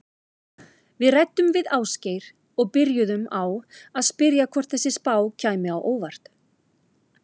Við ræddum við Ásgeir og byrjuðum á að spyrja hvort þessi spá kæmi á óvart?